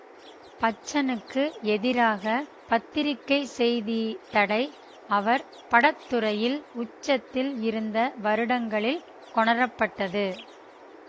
பச்சனுக்கு எதிராக பத்திரிகைச்செய்தித்தடை அவர் படத்துறையில் உச்சத்தில் இருந்தவருடங்களில் கொணரப்பட்டது